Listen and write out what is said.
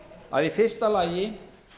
að í fyrsta lagi